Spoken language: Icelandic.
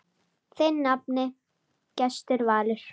Þinn nafni, Gestur Valur.